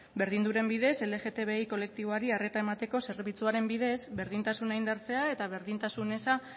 berdinduren bidez lgtbi kolektiboari arreta emateko zerbitzuaren bidez berdintasuna indartzea eta berdintasun eza